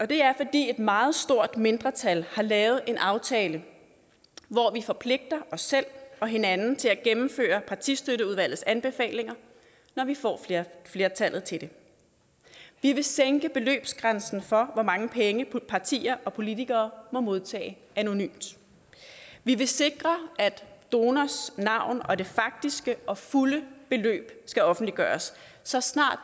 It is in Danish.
det er fordi et meget stort mindretal har lavet en aftale i forpligter os selv og hinanden til at gennemføre partistøtteudvalgets anbefalinger når vi får flertallet til det vi vil sænke beløbsgrænsen for hvor mange penge partier og politikere må modtage anonymt vi vil sikre at donors navn og det faktiske og fulde beløb skal offentliggøres så snart